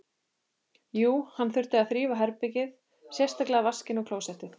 Jú, hann þurfti að þrífa baðherbergið, sérstaklega vaskinn og klósettið.